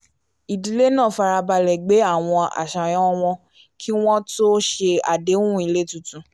ìdílé náà fara balẹ̀ gbé àwọn àṣàyàn wọn kí wọ́n tó ṣe àdéhùn ilé tuntun